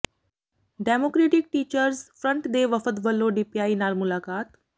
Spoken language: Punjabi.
ਡੈਮੋਕਰੈਟਿਕ ਟੀਚਰਜ਼ ਫਰੰਟ ਦੇ ਵਫਦ ਵਲੋਂ ਡੀਪੀਆਈ ਨਾਲ ਮੁਲਾਕਾਤ